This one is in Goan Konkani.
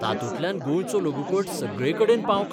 तातूंतल्यान गोंयचो लघुपट सगळेकडेन पावंक